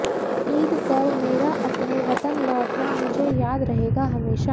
ईंद पर मेरा अपने वतन लौटना मुझे याद रहेगा हमेशा